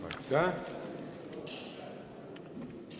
Aitäh!